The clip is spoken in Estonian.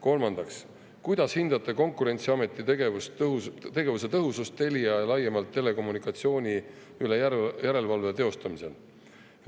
Kolmandaks, kuidas hindate Konkurentsiameti tegevuse tõhusust Telia ja laiemalt telekommunikatsiooni üle järelevalve teostamisel?